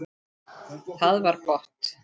Það var gott